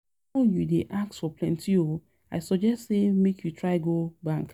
The loan you dey ask for plenty oo, um I suggest say make you try go bank